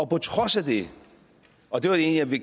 på trods af det og det var egentlig